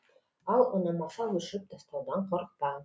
ал ұнамаса өшіріп тастаудан қорықпа